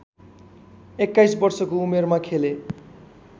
२१ वर्षको उमेरमा खेले